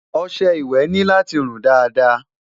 ọsẹ ìwé ní láti run Dàda